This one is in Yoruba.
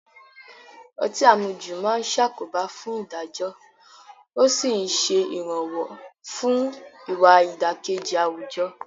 Ọtí àmujù máa ń ṣàkóbá fún ìdájọ́ ó sì ń ṣe ìrànwọ́ fún ìwà ìdàkejì àwùjọ